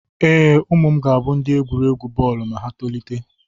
Ee, ụmụ m ga-abụ ndị egwuregwu bọọlụ ma ha tolite.